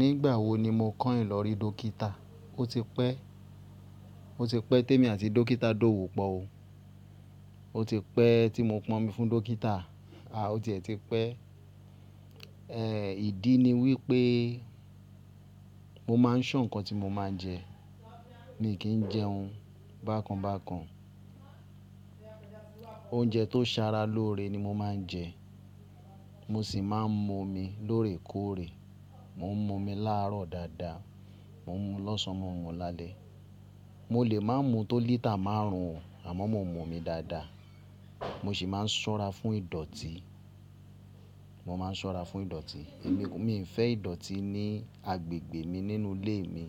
Nígbà wo ni mo kàń ìlọrí dókítà? O ti pẹ́, o ti pẹ́ tí èmi àti dókítà dówò pọ̀ o. O ti pẹ́ tí mo pọn omi fún dókítà. A o tiẹ ti pẹ́. Eh, ìdí ni wípé mo máa ń ṣàn ǹkan tí mo máa ń jẹ. Mi kì í jẹ oún bákan bákan. Oúnjẹ tó ń ṣara lóore ni mo máa ń jẹ. Mo sì máa ń mú omi lóore kóòre. Mo ń mú omi láàárọ̀ dáadáa. Mo ń mú lọ́sàn mo n mu lálẹ́. Mo lè máa ń mú tó lítà márùn ún o, àmọ́ mo ń mú omi dáadáa. Mo sì máa ń ṣọ́ra fún ìdọ̀tí. Mo máa ń ṣọ́ra fún ìdọ̀tí. Èmi, mi kò fẹ́ ìdọ̀tí ní agbègbè mi nínú ilé mi.